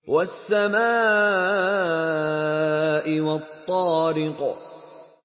وَالسَّمَاءِ وَالطَّارِقِ